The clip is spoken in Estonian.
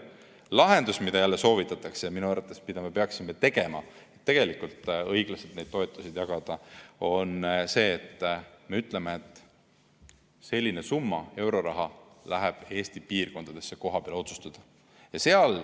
Lahendus, mida jälle soovitatakse ja mida me minu arvates peaksime tegema, et õiglaselt neid toetusi jagada, on see, et me ütleme, et selline summa euroraha läheb Eesti piirkondadesse kohapeale otsustamiseks.